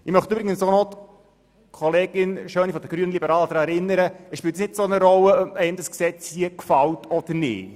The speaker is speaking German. Ich möchte auch Kollegin Schöni von den Grünliberalen daran erinnern, dass es keine grosse Rolle spielt, ob einem dieses Gesetz gefällt oder nicht.